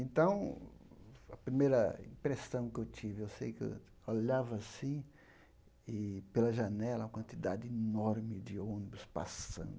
Então, a primeira impressão que eu tive, eu sei que eu olhava assim e, pela janela, uma quantidade enorme de ônibus passando.